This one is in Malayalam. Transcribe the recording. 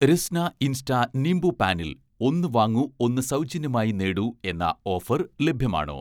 രസ്ന ഇൻസ്റ്റ നിംബുപാനിൽ ''ഒന്ന് വാങ്ങൂ ഒന്ന് സൗജന്യമായി നേടൂ'' എന്ന ഓഫർ ലഭ്യമാണോ?